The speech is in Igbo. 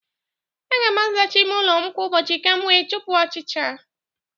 Aga m azacha ịme ụlọ m kwa ụbọchị ka m wee chụpụ ọchịcha